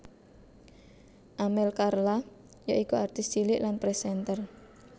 Amel Carla yaiku artis cilik lan présènter